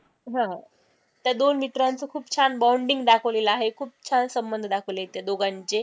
हा त्या दोन मित्रांचं खूप छान bonding दाखवलेलं आहे, खूप छान संबंध दाखवले आहे त्यादोघांचे,